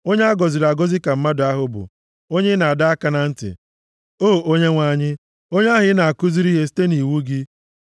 Onye a gọziri agọzi ka mmadụ ahụ bụ, onye ị na-adọ aka na ntị, O Onyenwe anyị, onye ahụ ị na-akụziri ihe site nʼiwu gị;